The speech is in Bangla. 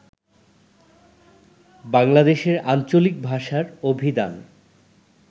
বাংলাদেশের আঞ্চলিক ভাষার অভিধান